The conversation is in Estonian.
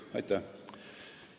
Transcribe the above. Aitäh!